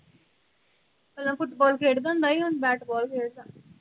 ਪਹਿਲਾਂ ਫ਼ੁਟਬਾਲ ਖੇਡਦਾ ਹੁੰਦਾ ਸੀ ਹੁਣ ਬੈਟ ਬਾਲ ਖੇਡਦਾ।